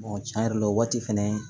tiɲɛ yɛrɛ la o waati fɛnɛ